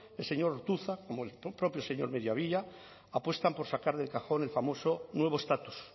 el señor ortuzar como el propio señor mediavilla apuestan por sacar del cajón el famoso nuevo estatus